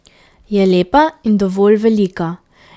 Je lepa in dovolj velika.